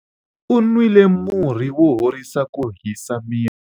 u nwile murhi wo horisa ku hisa miri